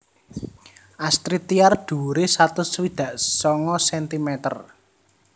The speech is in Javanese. Astrid Tiar dhuwuré satus swidak sanga sentimeter